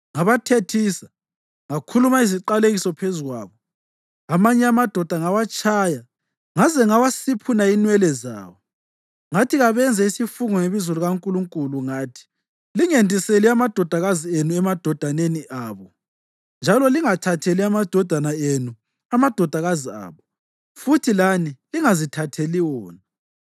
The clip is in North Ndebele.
Ngabathethisa, ngakhuluma iziqalekiso phezu kwabo. Amanye amadoda ngawatshaya ngaze ngawasiphuna inwele zawo. Ngathi kabenze isifungo ngebizo likaNkulunkulu ngathi, “Lingendiseli amadodakazi enu emadodaneni abo, njalo lingathatheli amadodana enu amadodakazi abo futhi lani lingazithatheli wona.